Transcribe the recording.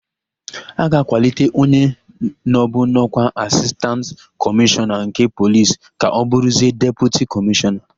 A ga-akwalite onye nọbu n'ọ́kwá Asistantị Kọmishọna nke Polis ka ọ bụrụzie Deputi Kọmishọna.